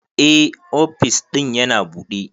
Eh, ofis din yana buɗe.